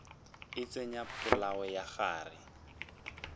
a tsenya polao ka gare